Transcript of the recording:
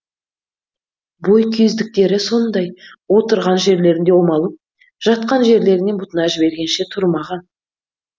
бойкүйездіктері сондай отырған жерлерінде омалып жатқан жерлерінен бұтына жібергенше тұрмаған